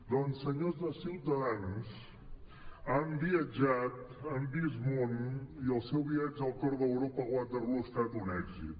doncs senyors de ciutadans han viatjat han vist món i el seu viatge al cor d’europa a waterloo ha estat un èxit